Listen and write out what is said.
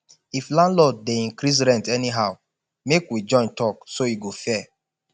if landlord dey increase rent anyhow make we join talk so e go fair